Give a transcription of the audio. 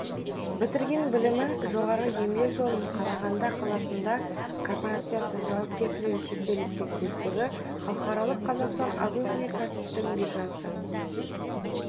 бітірген білімі жоғары еңбек жолын қарағанда қаласындағы корпорациясы жауапкершілігі шектеулі серіктестігі халықаралық қазақстан агроөнеркәсіптік биржасы